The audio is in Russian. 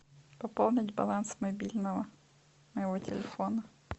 пополнить баланс мобильного моего телефона